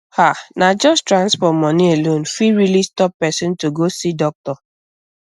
ah na just transport money alone fit really stop person to go see doctor